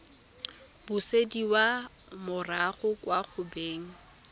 busediwa morago kwa go beng